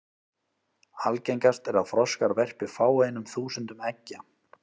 Algengast er að froskar verpi fáeinum þúsundum eggja.